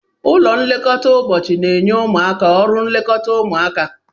Ụlọ nlekọta ụbọchị na-enye ụmụaka ọrụ nlekọta ụmụaka